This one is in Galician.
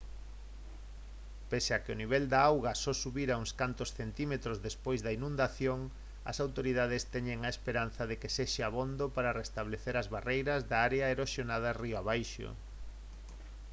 pese a que o nivel da auga só subirá uns cantos centímetros despois da inundación as autoridades teñen esperanza de que sexa abondo para restablecer as barreiras de area erosionadas río abaixo